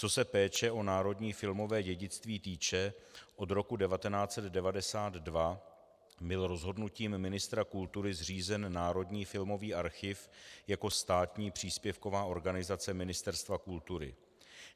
Co se péče o národní filmové dědictví týče, od roku 1992 byl rozhodnutím ministra kultury zřízen Národní filmový archiv jako státní příspěvková organizace Ministerstva kultury.